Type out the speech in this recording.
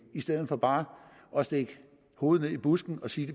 i stedet for bare at stikke hovedet i busken og sige